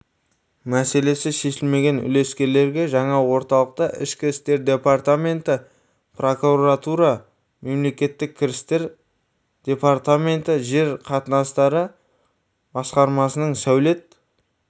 мәселесі шешілмеген үлескерлерге жаңа орталықта ішкі істер департаменті прокуратура мемлекеттік кірістер департаменті жер қатынастары басқармасының сәулет